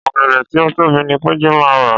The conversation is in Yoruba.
Ọ̀gẹ̀dẹ̀ tí ó tóbi ní Péjú máa rà.